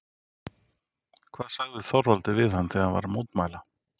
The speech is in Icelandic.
Hvað sagði Þorvaldur við hann þegar hann var að mótmæla?